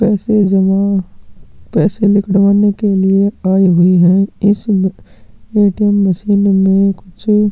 पैसे जमा पैसे निकलवाने के लिए आये हुए है इस ए_टी_एम् मशीन में कुछ--